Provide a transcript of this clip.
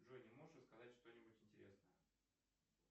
джой не можешь рассказать что нибудь интересное